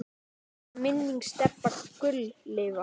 Megi minning Stebba Gull lifa.